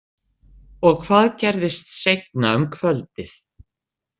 Og hvað gerðist seinna um kvöldið?